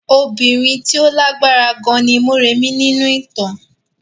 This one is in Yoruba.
Obìnrin tí ó lágbára gan ni Mọ́rẹ̀mí nínú ìtàn.